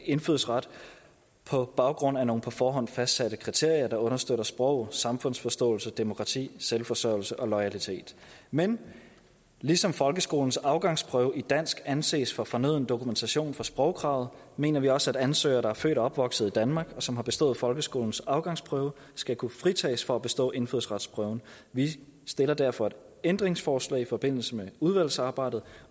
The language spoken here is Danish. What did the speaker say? indfødsret på baggrund af nogle på forhånd fastsatte kriterier der understøtter sprog samfundsforståelse demokrati selvforsørgelse og loyalitet men ligesom folkeskolens afgangsprøve i dansk anses for fornøden dokumentation for sprogkravet mener vi også at ansøgere der er født og opvokset i danmark og som har bestået folkeskolens afgangsprøve skal kunne fritages for at bestå indfødsretsprøven vi stiller derfor et ændringsforslag i forbindelse med udvalgsarbejdet